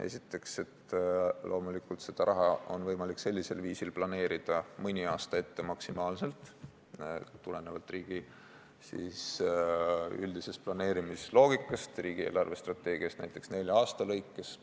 Esiteks, loomulikult on seda raha võimalik sellisel viisil planeerida maksimaalselt mõni aasta ette, tulenevalt riigi üldisest planeerimisloogikast, riigi eelarvestrateegias näiteks nelja aasta kaupa.